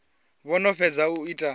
vho no fhedza u ita